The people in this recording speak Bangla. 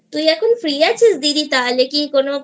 তুই কি এখন Freeআছিস দিদি তাহলে কোন